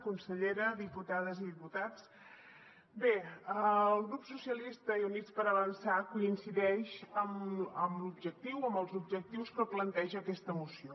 consellera diputades i diputats bé el grup socialistes i units per avançar coincideix amb l’objectiu o amb els objectius que planteja aquesta moció